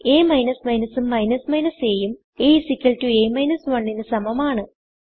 അ ഉം a ഉം a a 1 ന് സമമാണ്